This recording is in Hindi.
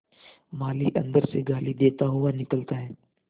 माली अंदर से गाली देता हुआ निकलता है